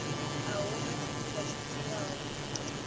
a huna tshifhinga tsho tiwaho